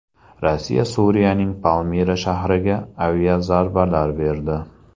Rossiya Suriyaning Palmira shahriga aviazarbalar berdi.